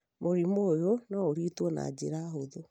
mũrimũ ũyũ no ũrigitwo na njĩra hũthũ